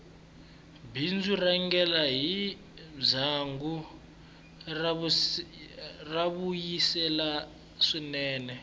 bindzu r rhangela hi ndyangu ra vuyisela swinene